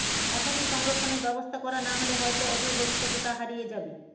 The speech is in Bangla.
এখনই সংরক্ষণের ব্যবস্থা করা না হলে হয়তো অদূর ভবিষ্যতে তা হারিয়ে যাবে